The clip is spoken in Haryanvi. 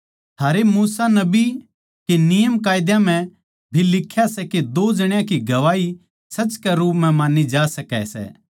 थारे मूसा नबी के नियमकायदा म्ह भी लिख्या सै के दो जण्यां की गवाही सच के रूप म्ह मान्नी जा सकै सै